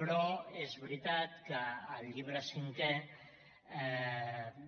però és veritat que el llibre cinquè